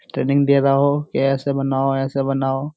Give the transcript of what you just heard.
Training दे रहा है वो कि ऐसे बनाओ ऐसे बनाओ।